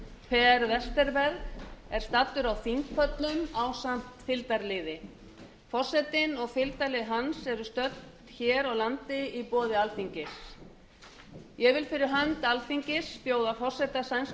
ríkisþingsins per westerberg er staddur á þingpöllum ásamt fylgdarliði forsetinn og fylgdarlið hans eru stödd hér á landi í boði alþingis ég vil fyrir hönd alþingis bjóða forseta sænska